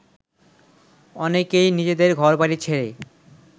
অনেকেই নিজেদের ঘরবাড়ি ছেড়ে